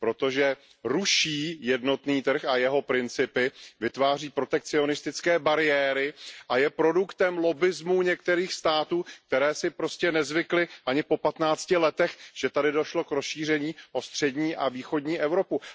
Protože ruší jednotný trh a jeho principy, vytváří protekcionistické bariéry a je produktem lobbismu některých států, které si prostě nezvykly ani pro patnácti letech, že tady došlo k rozšíření o střední a východní Evropu.